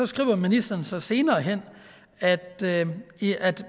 skriver ministeren så senere hen at